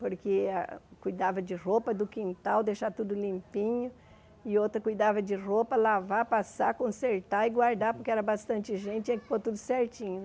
Porque a cuidava de roupa do quintal, deixar tudo limpinho, e outra cuidava de roupa, lavar, passar, consertar e guardar, porque era bastante gente, tinha que pôr tudo certinho.